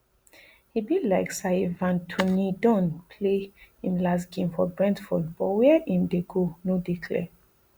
e be like sayivan toneydon play im last game for brentford but wia im dey go no dey clear